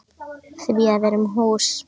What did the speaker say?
Því að við erum hús.